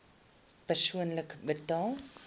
persoonlik betaal